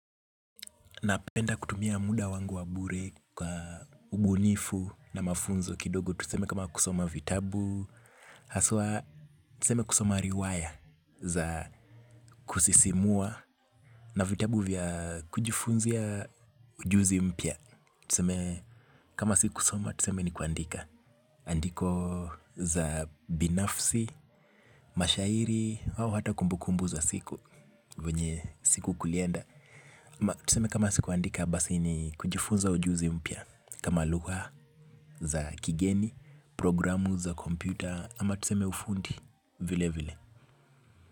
Napenda kutumia muda wangu wa bure kwa ubunifu na mafunzo kidogo tuseme kama kusoma vitabu. Haswa tuseme kusoma riwaya za kusisimua na vitabu vya kujifunzia ujuzi mpya. Tuseme kama sikusoma tuseme ni kuandika. Andiko za binafsi, mashairi, wawo hata kumbukumbu za siku, venye siku kulienda. Tuseme kama sikuandika basi ni kujifunza ujuzi mpya. Kama luwa za kigeni, programu za kompyuta ama tuseme ufundi vile vile.